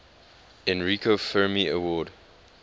enrico fermi award